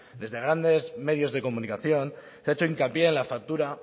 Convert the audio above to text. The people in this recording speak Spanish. desde grandes medios de comunicación se ha hecho hincapié en la factura